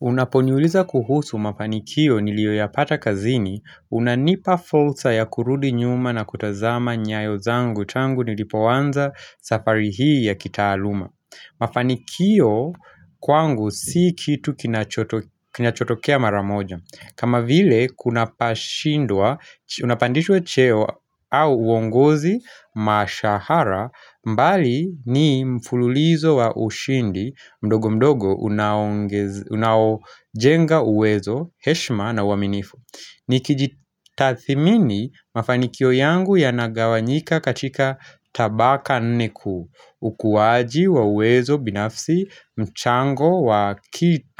Unaponiuliza kuhusu mafanikio niliyo ya pata kazini, unanipa fursa ya kurudi nyuma na kutazama nyayo zangu tangu nilipoanza safari hii ya kitaaluma. Mafanikio kwangu si kitu kina chotokea maramoja. Kama vile kuna pashindwa unapandishwa cheo au uongozi mashahara mbali ni mfululizo wa ushindi mdogo mdogo unaojenga uwezo heshima na uwaminifu Nikijitathimini mafanikio yangu yanagawa nyika katika tabaka nnekuu ukuwaji wa uwezo binafsi mchango